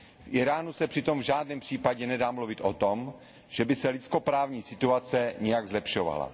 V Íránu se přitom v žádném případě nedá mluvit o tom, že by se lidskoprávní situace nějak zlepšovala.